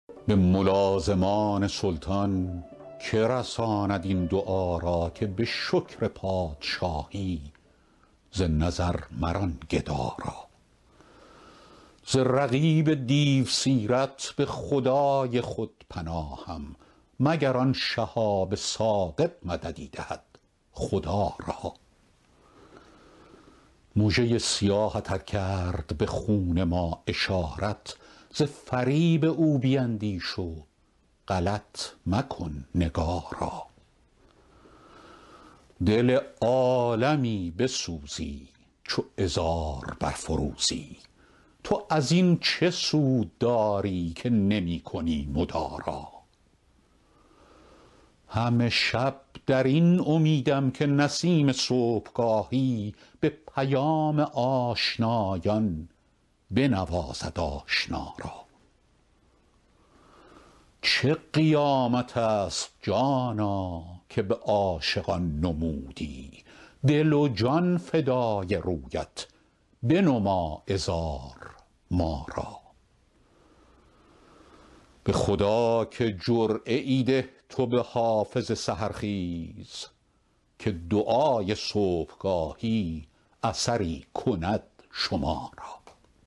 به ملازمان سلطان که رساند این دعا را که به شکر پادشاهی ز نظر مران گدا را ز رقیب دیوسیرت به خدای خود پناهم مگر آن شهاب ثاقب مددی دهد خدا را مژه ی سیاهت ار کرد به خون ما اشارت ز فریب او بیندیش و غلط مکن نگارا دل عالمی بسوزی چو عذار برفروزی تو از این چه سود داری که نمی کنی مدارا همه شب در این امیدم که نسیم صبحگاهی به پیام آشنایان بنوازد آشنا را چه قیامت است جانا که به عاشقان نمودی دل و جان فدای رویت بنما عذار ما را به خدا که جرعه ای ده تو به حافظ سحرخیز که دعای صبحگاهی اثری کند شما را